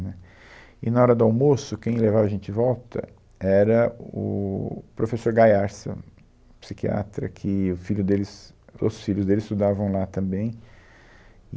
Né, E, na hora do almoço, quem levava a gente de volta era o o professor Gaiarsa, psiquiatra, que o filho deles, os filhos dele estudavam lá também.